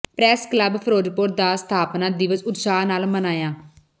press club Firozpur ਦਾ ਸਥਾਪਨਾ ਦਿਵਸ ਉਤਸ਼ਾਹ ਨਾਲ ਮਨਾਇਆ